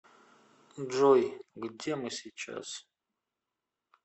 джой где мы сейчас